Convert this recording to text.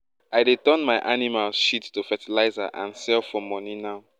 i deg turn my animals shit to fertilizer and sell for money now